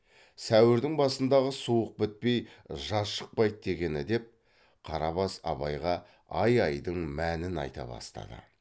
сәуірдің басындағы суық бітпей жаз шықпайды дегені деп қарабас абайға ай айдың мәнін айта бастады